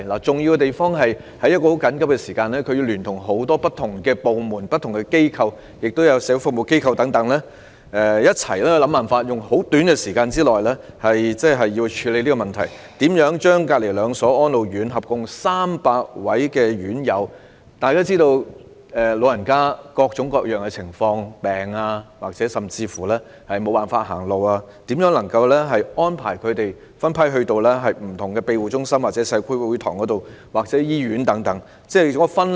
重要之處，是他們須在十分緊迫的時間內聯同多個不同部門、機構和社會服務機構，共同想辦法在短時間內處理有關問題，將毗鄰的兩間安老院舍合共300名院友——大家皆知道，長者有各種各樣的情況，例如生病，甚至行動不便——分批安排到不同的庇護中心、社區會堂或醫院及分流。